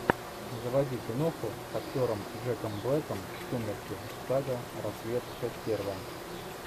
заводи киноху с актером джеком блэком сумерки сага рассвет часть первая